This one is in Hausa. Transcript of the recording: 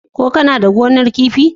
Kana da gonar kifi?